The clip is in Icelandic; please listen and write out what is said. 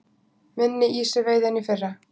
Minni ýsuveiði en í fyrra